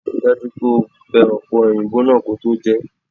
Rí i dájú pé o bẹ ọ̀pẹ-òyìnbó náà kí o tó jẹ é!